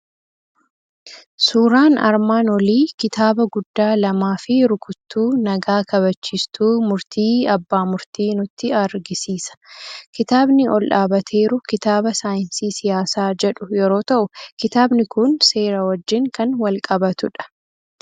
Suuraan armaan nolii kitaaba guddaa lamaa fi rukuttuu nagaa kabachiistuu murtii abbaa murtii nutti argisiisa. Kitaabni ol dhaabbateeru kitaaba saayinsii siyaasa jedhu yeroo ta'u, kitaabni kun seera wajjin kan wal qabatudha.